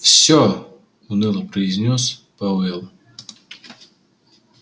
все уныло произнёс пауэлл